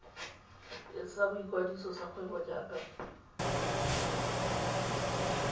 sa boikwadiso sa kgwebo jaaka